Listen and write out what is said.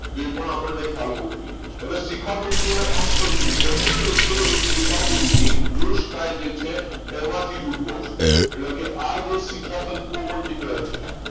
તો એ પણ આપણને ખ્યાલ હોવો જોઈએ અને શિખા તંતુ અને અક્ષ તંતુઓ બંને જે છે એ ચેતાકોષની કોષકાય જે છે એનમાંથી ઉદ્યોગ છે એટલે કે આજે શેખાતંતુ નીકળે છે